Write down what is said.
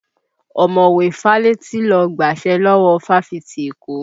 Ọmọ̀wé Fálétí ló gbàṣẹ lọ́wọ́ Fáfitì Èkó